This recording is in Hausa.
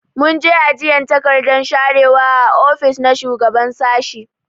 Mun je ajiyan takardan sharewa a ofis na shugaban sashi.